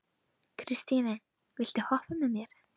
Kristine, viltu hoppa með mér?